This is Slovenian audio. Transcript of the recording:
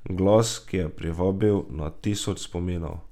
Glas, ki je privabil na dan tisoč spominov.